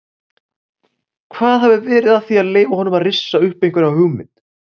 Hvað hafi verið að því að leyfa honum að rissa upp einhverja hugmynd?